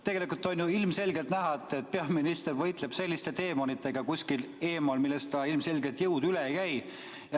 Tegelikult on ju ilmselgelt näha, et peaminister võitleb kuskil eemal selliste deemonitega, millest tal ilmselgelt jõud üle ei käi.